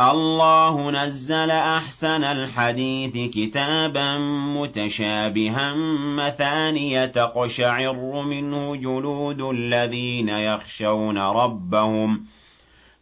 اللَّهُ نَزَّلَ أَحْسَنَ الْحَدِيثِ كِتَابًا مُّتَشَابِهًا مَّثَانِيَ تَقْشَعِرُّ مِنْهُ جُلُودُ الَّذِينَ يَخْشَوْنَ رَبَّهُمْ